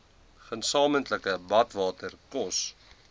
gesamentlike badwater kos